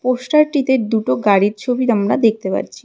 Poster টিতে দুটো গাড়ির ছবি আমরা দেখতে পাচ্ছি।